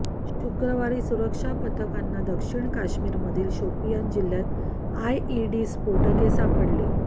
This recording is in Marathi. शुक्रवारी सुरक्षा पथकांना दक्षिण काश्मीरमधील शोपियान जिल्ह्यात आयईडी स्फोटके सापडली